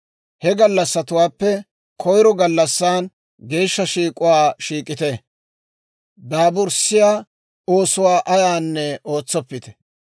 He gallassatuwaappe koyiro gallassan geeshsha shiik'uwaa shiik'ite; daaburssiyaa oosuwaa ayaanne ootsoppite.